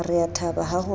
re a thaba ha ho